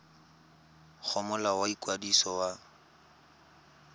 go molao wa ikwadiso wa